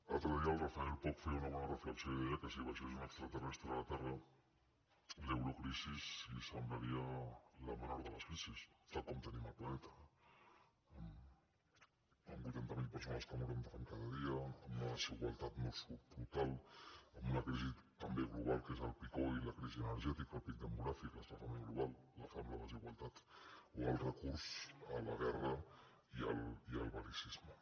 l’altre dia el rafael poch feia una bona reflexió i de·ia que si baixés un extraterrestre a la terra l’eurocri·si li semblaria la menor de les crisis tal com tenim el planeta amb vuitanta mil persones que moren de fam cada dia amb la desigualtat nord·sud brutal amb una crisi també global que és el peak oil i la crisi energè·tica el pic demogràfic l’escalfament global la fam la desigualtat o el recurs a la guerra i al bel·licisme